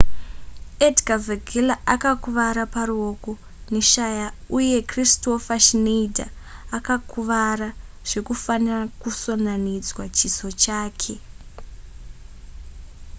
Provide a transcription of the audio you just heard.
edgar veguilla akakuvara paruoko neshaya uye kristoffer schneider akakuvara zvekufanira kusonanidzwa chiso chake